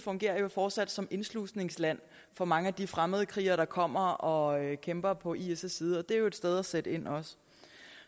fortsat som indslusningsland for mange af de fremmede krigere der kommer og kæmper på is side og det er jo et sted at sætte ind